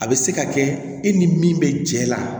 A bɛ se ka kɛ e ni min bɛ jɛ la